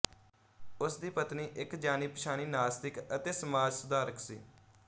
ਉਸਦੀ ਪਤਨੀ ਇਕ ਜਾਣੀਪਛਾਣੀ ਨਾਸਤਿਕ ਅਤੇ ਸਮਾਜ ਸੁਧਾਰਕ ਸੀ